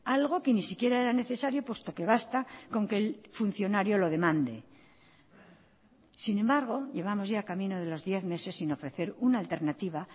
algo que ni siquiera era necesario puesto que basta con que el funcionario lo demande sin embargo llevamos ya camino de los diez meses sin ofrecer una alternativa